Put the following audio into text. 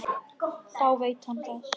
Þá veit hann það!